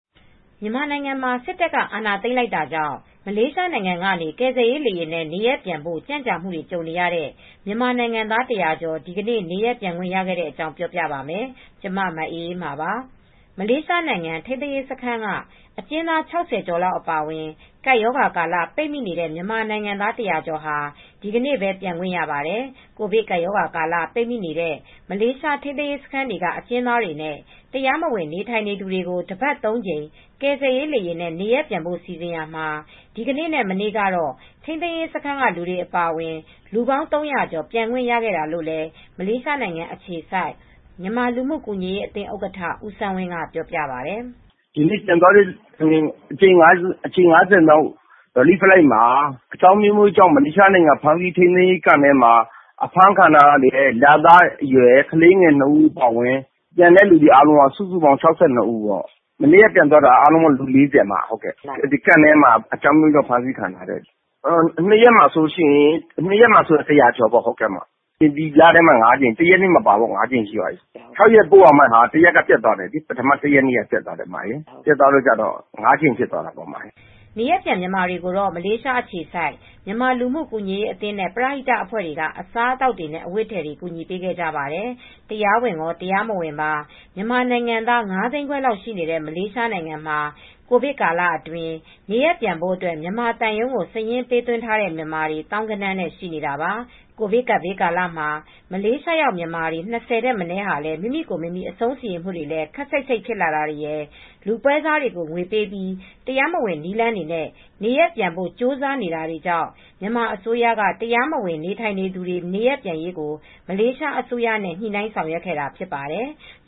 မြန်မာနိုင်ငံမှာ စစ်တပ်က အာဏာသိမ်းလိုက်တာကြောင့် မလေးရှားနိုင်ငံကနေ ကယ်ဆယ်ရေးလေယာဉ်နဲ့ နေရပ်ပြန်ဖို့ ကြန့်ကြာမှုတွေ ကြုံခဲ့ရတဲ့ မြန်မာနိုင်ငံသား ၁၀၀ ကျော် ဒီနေ့ပဲ နေရပ်ပြန်ခွင့်ရခဲ့တဲ့အကြောင်း ပြောပြပါမယ်။ ကျမ မအေးအေးမာပါ။ မလေးရှားနိုင်ငံ ထိမ်းသိမ်းရေးစခန်းက အကျဉ်းသား ၆၀ကျော်လောက် အပါအဝင် ကပ်ရောဂါကာလ ပိတ်မိနေတဲ့မြန်မာနိုင်ငံသား ၁၀၀ ကျော်ဟာ ဒီနေ့ပဲ ပြန်ခွင့်ရပါတယ် ။ ကိုဗစ်ကပ်ရောဂါကာလ ပိတ်မိနေတဲ့ မလေးရှားထိမ်းသိမ်းရေးစခန်းက အကျဉ်းသားတွေနဲ့ တရားမဝင်နေထိုင်သူတွေကို တပတ် ၃ကြိမ် ကယ်ဆယ်ရေး လေယာဉ်နဲ့ နေရပ်ပြန်ဖို့စီစဉ်ရာမှာ ဒီကနေ့နဲ့မနေ့က တော့ ထိမ်းသိမ်းရေးစခန်းကလူတွေအပါအဝင် လူပေါင်း ၃၀၀ကျော် ပြန်ခွင့်ရခဲ့တာလို့လည်း မလေးရှားနိုင်ငံအခြေစိုက် မြန်မာလူမူကူညီရေးအသင်းဥက္ကဌဦးစန်းဝင်းက ပြောပါတယ်။ "ဒီနေ့ပြန်သွားတဲ့အကြိမ် ၅၀မြောက် ကယ်ဆယ်ရေးလေယာဉ်မှာ အကြောင်းအမျိုးမျိုးကြောင့် မလေးရှားထိမ်းသိမ်းရေးစခန်းတွေမှာ ဖမ်းဆီးခံထားတဲ့ရတဲ့လသားကလေး၂ဦးအပါအဝင်၆၂ဦး လည်းပါတယ် မနေ့ကပြန်သွားတာ ၄၀ လောက်ကလည်းအကျဉ်းသားတွေပဲ ထိမ်းသိမ်းရေးစခန်းတွေကလူတွေပါ ၂ရက်အတွင်းဆို လူ ၁၀၀ကျော်ပြန်သွားပါတယ် ဒီလထဲမှာ ၅ကြိမ်ရှိသွားပြီ ၆ ကြိမ်ပို့ရမှာ ဒီလ ၁ရက်နေ့ကပျက်သွားတယ် အခု ၅ကြိမ်ပဲဖြစ်သွားတယ် နေရပ်ပြန်မြန်မာတွေကိုတော့ မလေးရှားအခြေစိုက်မြန်မာလူမူ့ကူညီရေးအသင်း နဲ့ပရဟိတအဖွဲ့ တွေက အစားအသောက်နဲ့အဝတ်အထည်တွေ ကူညီပေးခဲ့ကြပါတယ် ။ တရားဝင်ရောတရားမဝင်ပါ မြန်မာနိုင်ငံသား၅သိန်းခွဲလောက်ရှိနေတဲ့မလေးရှားနိုင်ငံမှာကိုဗစ်ကာလအတွင်းမှာနေရပ်ပြန်ဖို့အတွက် မြန်မာသံရုံးကို စာရင်းပေးသွင်းထားတဲ့မြန်မာတွေ သောင်းဂဏန်းနဲ့ှရှိနေတာပါ ။ ကိုဗစ်ကပ်ဘေးကာလမှာ မလေးရှားရောက် မြန်မာ၂၀ထက်မနည်းဟာမိမိကိုယ်မိမိအဆုံးစီရင်မူတွေလည်း ခပ်စိတ်စိတ်ဖြစ်လာတွေရယ် လူပွဲစားတွေကိုငွေပေးပြီး တရားမဝင်နည်းလမ်းတွေနဲ့နေရပ်ပြန်ဖို့ကြိုးစားနေတာတွေကြောင့် မြန်မာအစိုးရက တရားမဝင်နေထိုင်သူတွေနေရပ်ပြန်နိုင်ရေးကိုမလေးရှားအစိုးရနဲ့ညှိနှိုင်းဆောင်ရွက်ခဲ့တာဖြစ်ပါတယ် ။